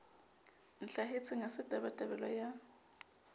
ntlhahetseng ha se tabatabelo ya